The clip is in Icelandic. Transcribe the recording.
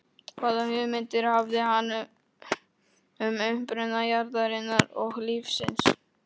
Hvaða hugmyndir hafði hann um uppruna jarðarinnar og lífsins?